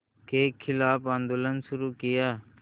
के ख़िलाफ़ आंदोलन शुरू किया